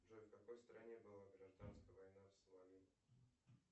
джой в какой стране была гражданская война в сомали